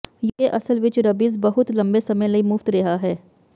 UK ਅਸਲ ਵਿਚ rabies ਬਹੁਤ ਲੰਬੇ ਸਮੇਂ ਲਈ ਮੁਫ਼ਤ ਰਿਹਾ ਹੈ